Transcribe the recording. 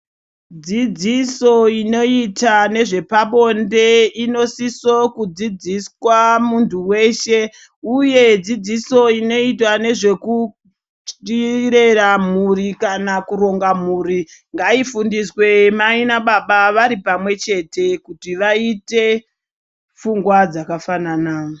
Dzidziso inoita nezvepabonde inosiso kudzidziswa muntu veshe, uye dzidziso inoitwa nezvekurera muri kana kuronga mhuri. Ngaifundiswe mai nababa vari pamwechete kuti vaite pfungwa dzakafanana.